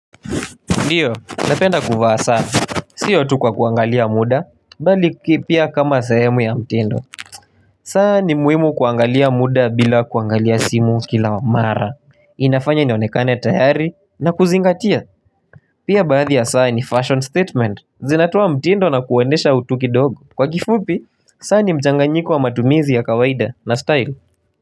Ndiyo, napenda kuvaa saa, siyo tukwa kuangalia muda, bali kipia kama sayemu ya mtindo. Saa ni muhimu kuangalia muda bila kuangalia simu kila mara. Inafanya nionekane tahari na kuzingatia. Pia baadhi ya saa ni fashion statement. Zinatua mtindo na kuendesha utuki dog. Kwa kifupi, saa ni mchanga nyiko wa matumizi ya kawaida na style.